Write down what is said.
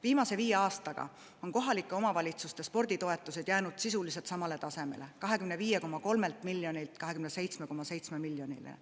Viimase viie aastaga on kohalike omavalitsuste sporditoetused jäänud sisuliselt samale tasemele: 25,3 miljonilt on jõutud 27,7 miljonile.